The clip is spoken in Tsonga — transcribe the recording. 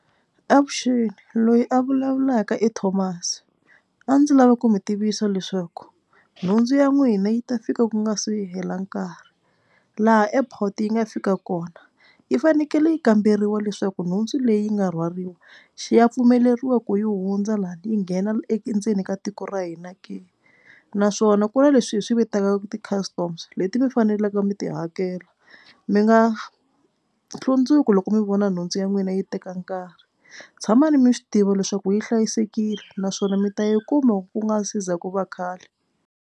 Avuxeni loyi a vulavulaka i Thomas a ndzi lava ku mi tivisa leswaku nhundzu ya n'wina yi ta fika ku nga se hela nkarhi. Laha airport yi nga fika kona yi fanekele yi kamberiwa leswaku nhundzu leyi nga rhwariwa xi ya pfumeleriweke yi hundza laha yi nghena endzeni ka tiko ra hina ke naswona ku na leswi hi swi vitanaka ti-customs leti mi fanelaka mi ti hakela. Mi nga hlundzuki loko mi vona nhundzu ya n'wina yi teka nkarhi tshamani mi swi tiva leswaku yi hlayisekile naswona mi ta yi kuma ku nga se za ku va khale.